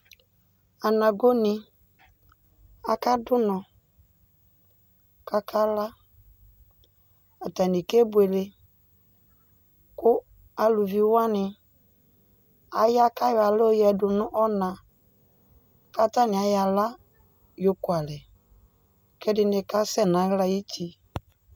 Anagoni akadu ʋnɔ, kʋ akala Atanɩ kenʋele, kʋ aluvi wanɩ aya kʋ ayɔ aɣla yǝdʋ nʋ ɔna Kʋ atanɩ ayɔ aɣla yokʋalɛ, kʋ ɛdɩnɩ kasɛ nʋ aɣla yɛ ayʋ uti